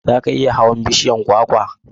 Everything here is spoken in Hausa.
Za ka iya hawan bishiyar kwakwa?